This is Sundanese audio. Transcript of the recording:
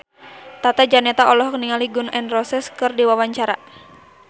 Tata Janeta olohok ningali Gun N Roses keur diwawancara